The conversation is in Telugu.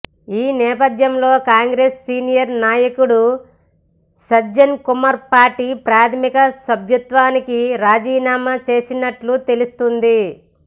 ఈ నేపధ్యంలో కాంగ్రెస్ సీనియర్ నాయకుడు సజ్జన్ కుమార్ పార్టీ ప్రాథమిక సభ్యత్వానికి రాజీనామా చేసినట్లు తెలుస్తుంది